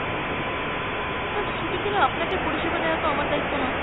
না ছুটির দিনে আপনাকে পরিসেবা দেওয়া তো আমার দায়িত্ব নয়।